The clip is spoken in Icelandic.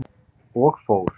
Og fór.